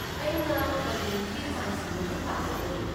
ꯑꯩꯅ ꯀꯔꯤ ꯆꯦ ꯆꯥꯡꯁꯤꯡ ꯃꯊꯧ ꯇꯥꯒꯗꯒꯦ?